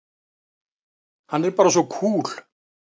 Hann er bara svo kúl!